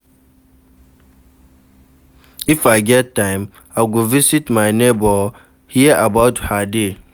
If I get time, I go visit my neighbour, hear about her day.